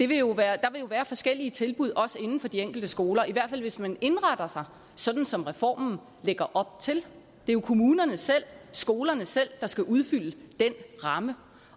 vil jo være forskellige tilbud på de enkelte skoler i hvert fald hvis man indretter sig sådan som reformen lægger op til det er jo kommunerne selv skolerne selv der skal udfylde den ramme